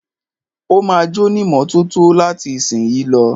Ó ma jónímọ́tótó láti ìsìnyí lọ.